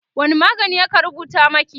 wani magani aka rubuta maki?